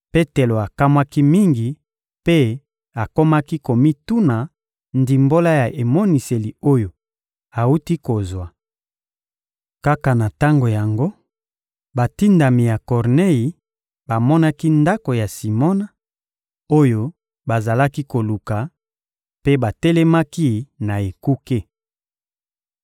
Petelo akamwaki mingi mpe akomaki komituna ndimbola ya emoniseli oyo awuti kozwa. Kaka na tango yango, batindami ya Kornei bamonaki ndako ya Simona, oyo bazalaki koluka, mpe batelemaki na ekuke.